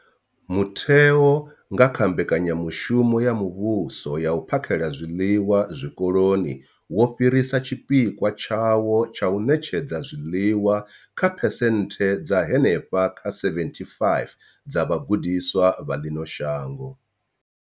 Mutheo, nga kha mbekanyamushumo ya muvhuso ya u phakhela zwiḽiwa Zwikoloni, wo fhirisa tshipikwa tshawo tsha u ṋetshedza zwiḽiwa kha phesenthe dza henefha kha 75 dza vhagudiswa vha ḽino shango.